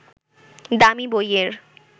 দামি বইয়ের